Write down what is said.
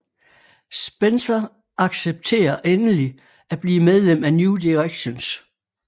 Spencer accepterer endelig at blive medlem af New Directions